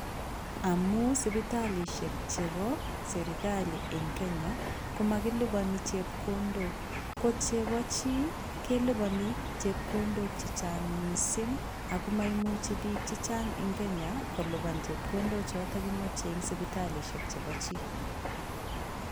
Amun sipitalishe chebo serikali en kenya komokiliponi chepkondok ,ko chebojii keliboni chekondok chechang missing ako moimuchi bik chechang en kenya kolipa chekondo choton kimoche en sipitallishe chepo chii.